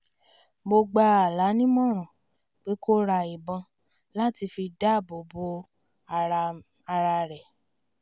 mo gba ala ní ìmọ̀ràn pé kó ra ìbọn láti fi dáàbò bo ara rẹ̀